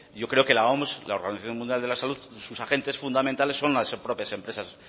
yo creo que la oms la organización mundial de la salud sus agentes fundamentales son las propias empresas